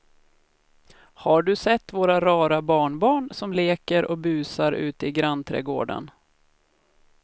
Har du sett våra rara barnbarn som leker och busar ute i grannträdgården!